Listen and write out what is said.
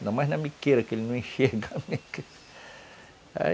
Ainda mais na miqueira, que eles não enxergam